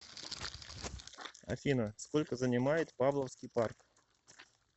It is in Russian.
афина сколько занимает павловский парк